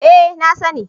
Eh na sani